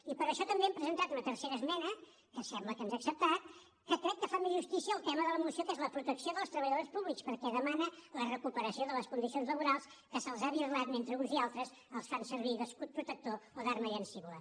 i per això també hem presentat una tercera esmena que sembla que ens ha acceptat que crec que fa més justícia al tema de la moció que és la protecció dels treballadors públics perquè demana la recuperació de les condicions laborals que se’ls ha birlat mentre uns i altres els fa servir d’escut protector o d’arma llancívola